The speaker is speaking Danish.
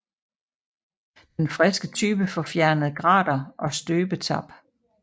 Den friske type får fjernet grater og støbetap